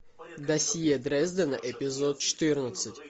досье дрездена эпизод четырнадцать